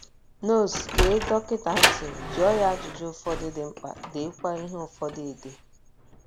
notes Gee dọkịta ntị, jụọ ya ajụjụ ụfọdụ dị mkpa, deekwa ihe ụfọdụ ede